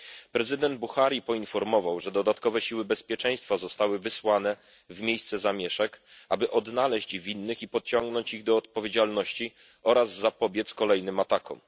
Prezydent Buhari poinformował, że dodatkowe siły bezpieczeństwa zostały wysłane w miejsce zamieszek, aby odnaleźć winnych i pociągnąć ich do odpowiedzialności oraz zapobiec kolejnym atakom.